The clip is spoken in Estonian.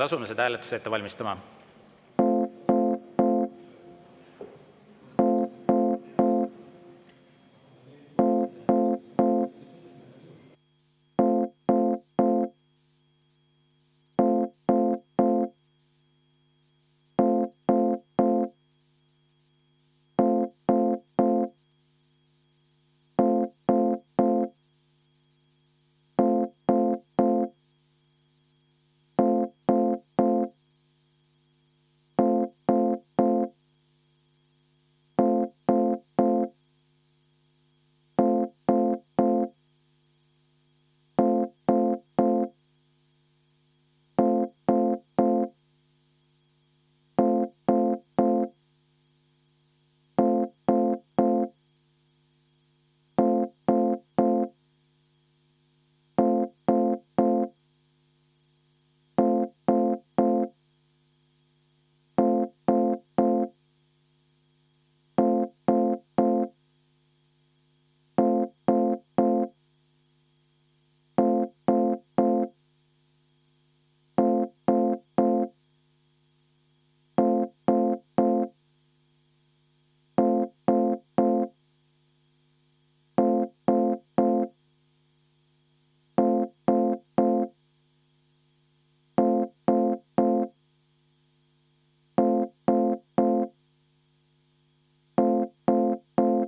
Asume seda hääletust ette valmistama.